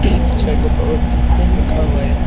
Chair के ऊपर एक ठो बैग रखा हुआ है।